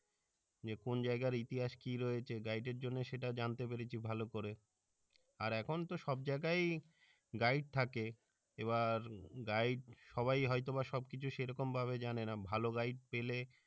যে কোন জাইগার ইতিহাস কি রয়েছে এর জন্য সেটা জানতে পেরেছি ভালো করে র এখন তো সব জাইগায় guide থাকে এবার guide সবাই হইত বা সবকিছু সেরকম ভাবে জানেনা ভালো guide পেলে